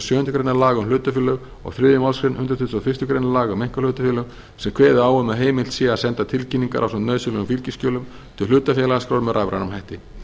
sjöundu grein laga um hlutafélög og þriðju málsgrein hundrað tuttugasta og fyrstu grein laga um einkahlutafélög sem kveði á um að heimilt sé að senda tilkynningar ásamt nauðsynlegum fylgiskjölum til hlutafélagaskrár með rafrænum hætti